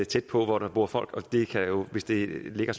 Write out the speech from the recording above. tæt på hvor der bor folk og hvis det ligger